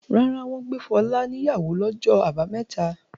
Rárá, wọ́n gbé Fọlá níyàwó lọjọ́ àbámẹ́ta.